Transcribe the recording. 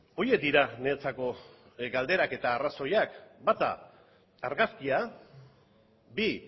horiek dira niretzako galderak eta arrazoiak bata argazkia bi